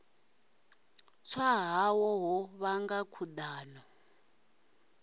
tswa hawe ho vhanga khudano